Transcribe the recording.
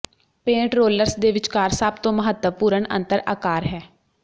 paint rollers ਦੇ ਵਿਚਕਾਰ ਸਭ ਤੋਂ ਮਹੱਤਵਪੂਰਣ ਅੰਤਰ ਆਕਾਰ ਹੈ